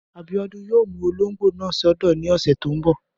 Abíọ́dún yóò mú olóngbò náà sọ́dọ̀ ní ọ̀sẹ̀ tó n bọ̀